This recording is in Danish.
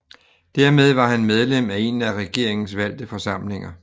Dermed var han medlem af en af regeringens valgte forsamlinger